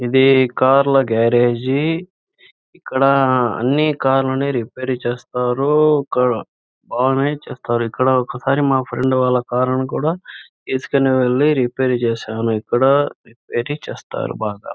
ఇది కార్ల గ్యారేజీ ఇక్కడ అని కార్లని రిపేర్ చేస్తారు ఇక్కడ బాగానే చేస్తారు ఇక్కడ ఒక సరి మా ఫ్రెండ్ వాళ్ళ కార్ ని కూడా తీసుకొని వెళ్లి రిపేర్ చేసాము ఇక్కడ చేస్తారు బాగా.